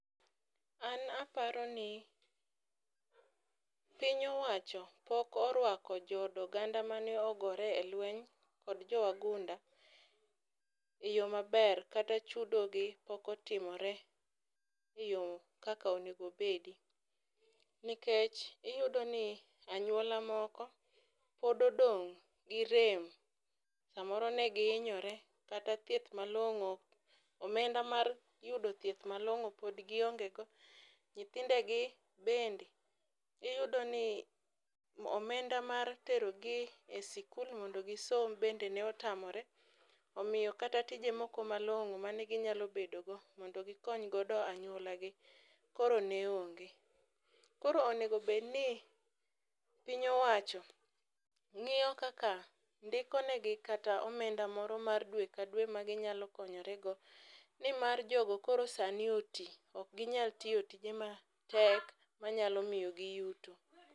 An aparo ni, piny owacho pok orwako jood oganda ma ne ogore e lweny kod jowagunda e yo maber kata chudogi pok otimore kaka onego obedi. Nikech iyudo ni anyuola moko, pod odong' gi rem samoro ne fgiinyore kata thieth malong'o, omenda mar yudo thieth malong'o pod giongego nyithindegi bende iyudoni omenda mar terogi e sikul mondo gisom bende ne otamore ominyo kata tije moko malong'o mane ginyalo bedogo mondo gikonygodo anyuolagi koro ne onge. Koro onego bedni piny owacho ng'iyo kaka ndikonegi kata omenda moro mar dwe ka dwe maginyalo konyorego nimar jogo koro sani oti ok ginyal tiyo tije matek manyalo miyogi yuto.